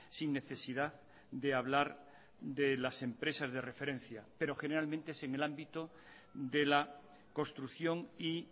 sin necesidad de hablar de las empresas de referencia pero generalmente es en el ámbito de la construcción y